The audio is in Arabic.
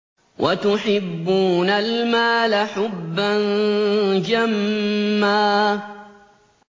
وَتُحِبُّونَ الْمَالَ حُبًّا جَمًّا